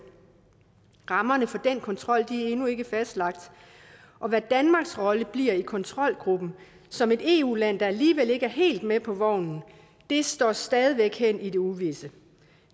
rammerne for den kontrol er endnu ikke fastlagt og hvad danmarks rolle bliver i kontrolgruppen som et eu land der alligevel ikke er helt med på vognen står stadig væk hen i det uvisse